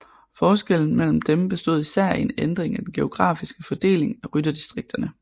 Forskellen mellem dem bestod især i en ændring af den geografiske fordeling af rytterdistrikterne